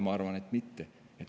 Ma arvan, et mitte.